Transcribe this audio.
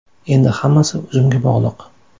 Endi hammasi o‘zimga bog‘liq.